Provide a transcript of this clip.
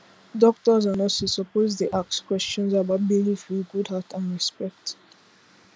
doctors and nurses suppose dey ask questions about belief with good heart and respect